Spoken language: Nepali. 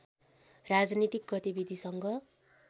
राजनीतिक गतिविधिसँग